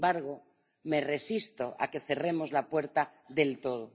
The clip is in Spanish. Sin embargo, me resisto a que cerremos la puerta del todo.